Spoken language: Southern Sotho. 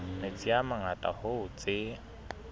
metsi a mangata hoo tse